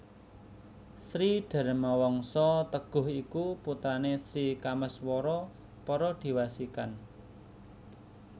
Sri Dharmawangsa Teguh iku putrané Sri Kameswara Paradewasikan